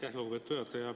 Aitäh, lugupeetud juhataja!